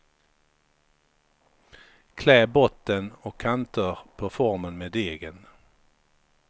Klä botten och kanter på formen med degen.